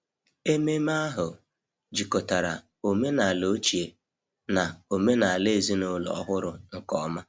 Ememme ahụ jikọtara omenala ochie na omenala ezinụlọ ọhụrụ nke ọma.